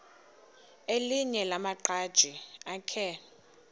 elinye lamaqhaji akhe